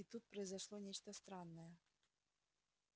и тут произошло нечто странное